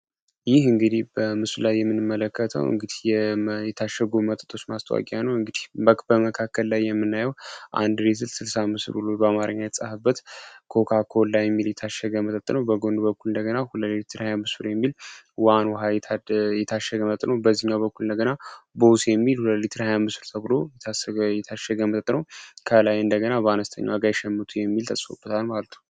ይህ እንግዲህ በምስሉ ላይ የምንመለከተው የታሸጉ መጠጦች ማስታወቂያ ነው በመካከል ላይ የምናየው ስልሳ አምስት ብር ተብሎ በአማርኛ የተፃፈበት ኮካ ኮላ የሚል የታሸገ መጠጥ ነው በጎን በኩል እንደገና አንዱ ሊትር ሃያአምስት ብር የሚል ዋን ውሃ የሚል የታሸገ መጠጥ ነው። በሌላኛው በኩል እንደገና ቦስ የሚል ሃይሁለት ብር ተብሎ የታሸገ መጠጥ ነው ከላይ ደግሞ በአነስተኛ ዋጋ የሚል ጽሁፍ ተጽፏል ማለት ነው።